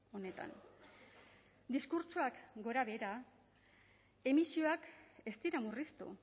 honetan diskurtsoak gorabehera emisioak ez dira murriztu